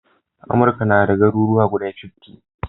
Amurka nada garuruwa guda fiftty